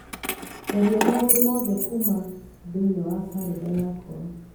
tharia maũndũ mothe kuuma thĩinĩ wa kalendarĩ yakwa